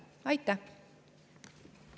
Aitäh!